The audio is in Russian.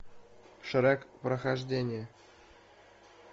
шрек прохождение